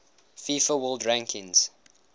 fifa world rankings